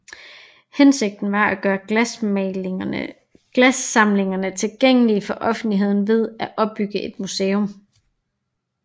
Hensigten var at gøre glassamlingerne tilgængelige for offentligheden ved at opbygge et museum